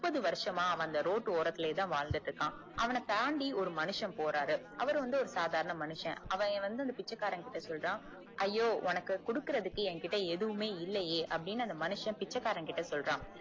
முப்பது வருசமா அவன் அந்த ரோட்டு ஓரத்துளையேதான் வாழ்ந்துட்டு இருக்கான் அவன தாண்டி ஒரு மனுஷன் போறாரு அவர் வந்து ஒரு சாதாரண மனுஷன் அவன் வந்து பிச்சைக்காரன் கிட்ட சொல்றான் ஐயோ உன்கிட்ட குடுக்குறதுக்கு ஏன் கிட்ட எதுவுமே இல்லையே அப்புடின்னு அந்த மனுஷன் பிச்சைக்காரன் கிட்ட சொல்லறான்